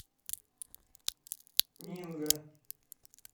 нинго